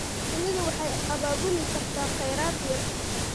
Shinnidu waxay abaabuli kartaa kheyraad yar.